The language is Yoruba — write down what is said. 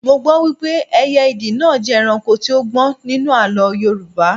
Mo gbọ́ wípé ẹyẹ ìdì náà jẹ́ ẹranko tí ó gbọ́n nínú àlọ́ Yorùbá